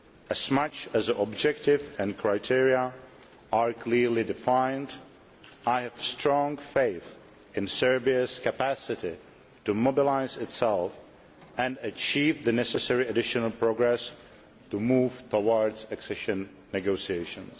As long as the objective and criteria are clearly defined, I have strong faith in Serbia's capacity to mobilise itself and achieve the necessary additional progress to move towards accession negotiations.